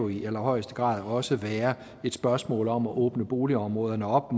i allerhøjeste grad også være et spørgsmål om at åbne boligområderne op